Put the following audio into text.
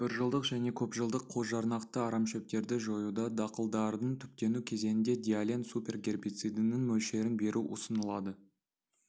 біржылдық және көпжылдық қосжарнақты арамшөптерді жоюда дақылдардың түптену кезеңінде диален-супер гербицидінің мөлшерін беру ұсынылады